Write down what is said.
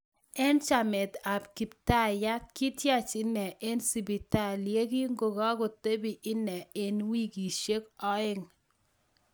Eng chamet ap kiptaiyat kityach inee eng sipitali yekikakotepee inee eng wikisiek oeng